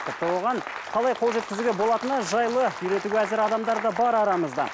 тіпті оған қалай қол жеткізуге болатыны жайлы үйретуге әзір адамдар бар арамызда